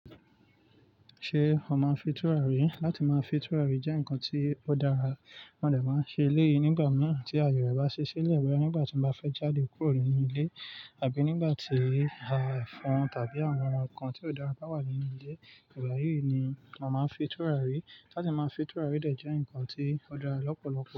Ṣé ó máa ń fi tùràrí láti máa fi tùràrí jẹ́ nǹkan tó dára. Wọ́n dẹ̀ máa ń ṣe léèyí nígbà mìíràn tí ayọ̀ rẹ bá ṣiṣẹ́ lé ẹ wẹ́, nígbà tí wọ́n bá fẹ́ jáde kúrò nínú ilé àbí nígbà tí à efon tàbí àwọn nǹkan tí ó dára bá wà nínú ilé. Ìgbà yìí ni wọ́n máa ń fi tùràrí. Láti máa fin tùràrí dẹ̀ jẹ́ nǹkan tí ó dára lọ́pọ̀lọpọ̀.